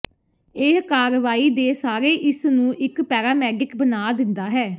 ਇਹ ਕਾਰਵਾਈ ਦੇ ਸਾਰੇ ਇਸ ਨੂੰ ਇੱਕ ਪੈਰਾਮੈਡਿਕ ਬਣਾ ਦਿੰਦਾ ਹੈ